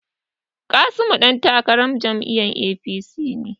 Kasimu dan takarar jam'iyyar APC ne.